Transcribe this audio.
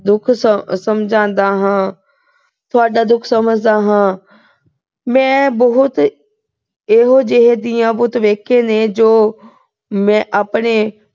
ਦੁੱਖ ਸਮਝਾਉਂਦਾ ਹਾਂ ਅਹ ਤੁਹਾਡਾ ਦੁੱਖ ਸਮਝਦਾ ਹਾਂ। ਮੈਂ ਇਹੋ ਜਿਹੇ ਬਹੁਤ ਧੀਆਂ ਪੁੱਤ ਦੇਖੇ ਨੇ ਜੋ ਮੈਂ ਆਪਦੇ